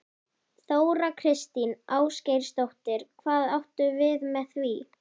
Þóra Kristín Ásgeirsdóttir: Hvað áttu við með því?